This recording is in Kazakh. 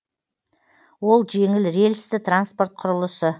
ол жеңіл рельсті транспорт құрылысы